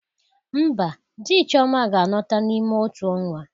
Mba, di Chioma ga-alọta n'ime otu ọnwa